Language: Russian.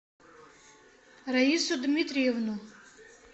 раису дмитриевну